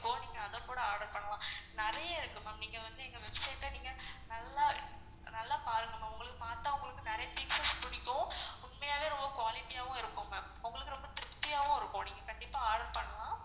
இப்போ நீங்க அத கூட order பண்லாம் நெறைய இருக்கு ma'am நீங்க வந்து எங்க website அ நீங்க நல்லா நல்லா பாருங்க ma'am மத்தவங்களுக்கு நெறைய புடிக்கும் உண்மையாவே ரொம்ப clarity யாவும் இருக்கும் ma'am உங்களுக்கு ரொம்ப திருப்தியாவும் இருக்கும் நீங்க கண்டிப்பா order பண்லாம்.